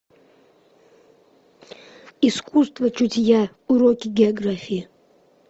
искусство чутья уроки географии